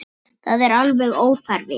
Það var alveg óþarfi.